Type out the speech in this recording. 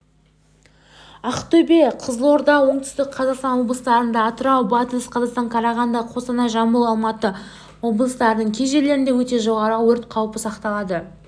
ақтөбе қызылорда оңтүстік қазақстан облыстарында атырау батыс қазақстан қарағанды қостанай жамбыл алматы облыстарының кей жерлерінде өте жоғары өрт қаупі сақталады